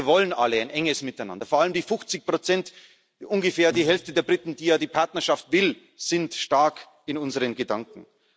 ist. Wir wollen alle ein enges Miteinander, vor allem die 50 ungefähr die Hälfte der Briten, die ja die Partnerschaft will, sind stark in unseren Gedanken.